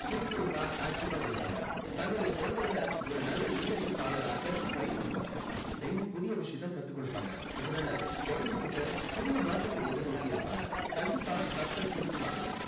சுறுசுறுப்பா active வா இருப்பாங்க. தன்னுடைய குழந்தைங்களை ஒரு நல்ல leadership ஆளராக்க try பண்ணுவாங்க. daily புதிய விஷயத்தை கத்துக் கொடுப்பாங்க. இதனால குழந்தைங்க கிட்ட புதிய மாற்றத்தை எதிர்நோக்கி இருப்பாங்க. கண்டிப்பா தப்ப திருத்துவாங்க.